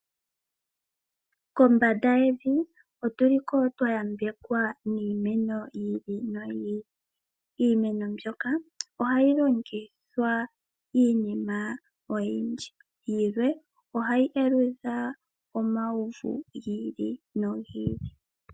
Kombanda yevi otu li ko twa yambekwa niimeno yi ili noyi ili. mbyoka ohayi longithwa iinima oyindji. Yilwe ohayi aludha omauvu gi ili nogi ili.